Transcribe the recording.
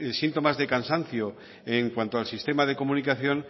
síntomas de cansancio en cuanto al sistema de comunicación